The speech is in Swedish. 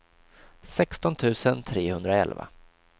sexton tusen trehundraelva